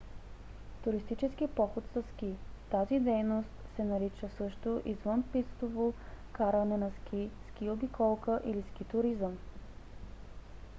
туристически поход със ски: тази дейност се нарича също извънпистово каране на ски ски обиколка или ски туризъм